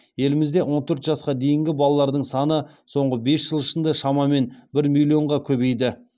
елімізде он төрт жасқа дейінгі балалардың саны соңғы бес жыл ішінде шамамен бір миллионға көбейді